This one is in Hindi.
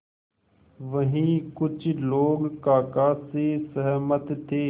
वहीं कुछ लोग काका से सहमत थे